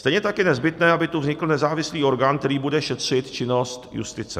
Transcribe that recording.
Stejně tak je nezbytné, aby tu vznikl nezávislý orgán, který bude šetřit činnost justice.